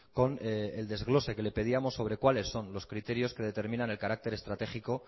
con el desglose que le pedíamos sobre cuáles son los criterios que determinan el carácter estratégico